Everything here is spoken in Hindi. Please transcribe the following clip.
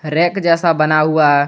रैक जैसा बना हुआ है।